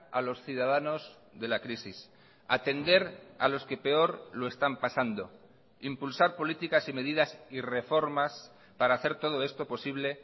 a los ciudadanos de la crisis atender a los que peor lo están pasando impulsar políticas y medidas y reformas para hacer todo esto posible